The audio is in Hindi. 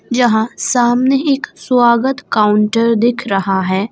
जहां सामने एक स्वागत काउंटर दिख रहा है।